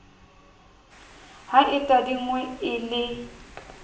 ha e tadingwe e le